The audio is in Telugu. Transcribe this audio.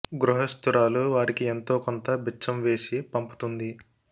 గృహస్తు రాలు వారికి ఎంతో కొంత బిచ్చం వేసి పంపు తుంది